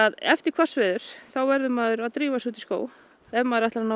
eftir hvasst veður verður maður að drífa sig út í skóg ef maður ætlar að ná